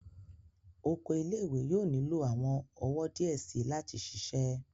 Oko ile-iwe yóò nilo awọn ọwọ diẹ sii lati ṣiṣẹ